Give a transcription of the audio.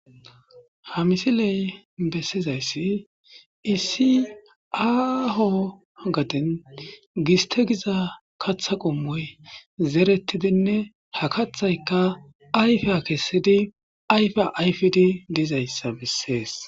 Ha misiley bessizayssi isiaho gadin gistegiza katha qommoy zerettidinne ha kathaykka ayfya kessidi ayfa ayfidi dizayssa bessees.